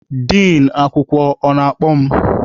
Din akwụkwọ, ọ na-akpọ mụ?